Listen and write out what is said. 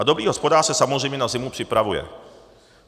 A dobrý hospodář se samozřejmě na zimu připravuje.